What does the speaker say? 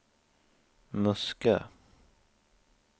Muskö